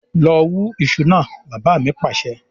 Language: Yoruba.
"lọ wù iṣu náà" bàbá mi Pàṣẹ.